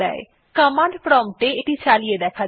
command prompt এ এটি চালিয়ে দেখা যাক